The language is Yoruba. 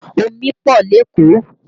Omi pọ̀ lékòó